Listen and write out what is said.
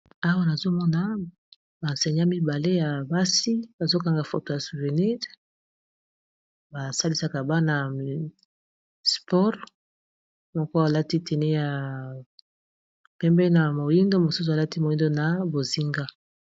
awa nazomona bansenya mibale ya basi bazokanga foto ya suvenis basalisaka bana ya spore moko alati teni ya pembe na moindo mosusu alati moindo na bozinga